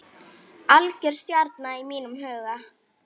Algjör stjarna í mínum huga.